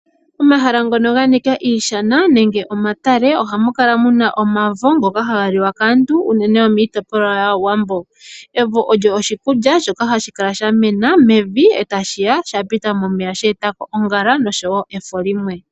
Omahala ngono ga nika iishana nenge omatale ohamu kala muna omavo ngoka haga liwa kaantu unene yomiitopolwa yaawambo. Evo olyo oshikulya shoka hashi kala sha mena mevi a tashi ya shapita momeya sheeta ko ongala oshowo efo limwe.